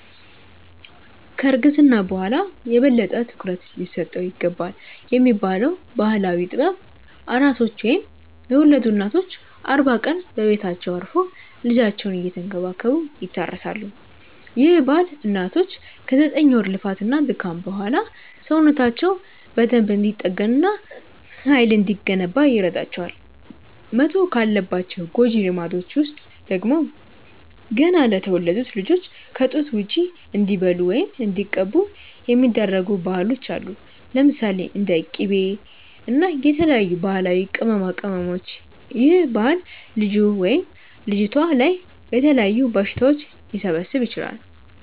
ከ እርግዝና በኋላ የበለጠ ትኩረት ሊሰጠው ይገባልብ የሚባለው ባህላዊ ጥበብ፤ ኣራሶች ወይም የወለዱ እናቶች አርባ ቀን በቤታቸው አርፈው ልጃቸውን እየተንከባከቡ ይታረሳሉ፤ ይህ ባህል እናቶች ከ ዘጠኝ ወር ልፋት እና ድካም በኋላ ሰውነታቸው በደንብ እንዲጠገን እና ሃይል እንዲገነባ ይረዳቸዋል። መተው ካለባቸው ጎጂ ልማዶች ውስጥ ደግሞ፤ ገና ለተወለዱት ልጆች ከ ጡት ውጪ እንዲበሉ ወይም እንዲቀቡ የሚደረጉ ባህሎች አሉ። ለምሳሌ፦ እንደ ቂቤ እና የተለያዩ ባህላዊ ቅመማቅመሞች ይህ ባህል ልጁ/ልጅቷ ላይ የተለያዩ በሽታዎች ሊሰበስብ ይችላል